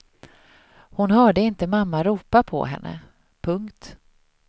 Hon hörde inte mamma ropa på henne. punkt